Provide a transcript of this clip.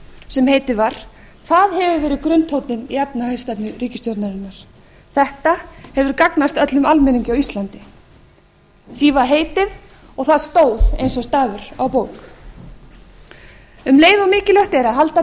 sem heitið var það hefur verið grunntónninn í efnahagsstefnu ríkisstjórnarinnar þetta hefur gagnast öllum almenningi á íslandi því var heitið og það stóð eins og stafur á bók um leið og mikilvægt er að halda til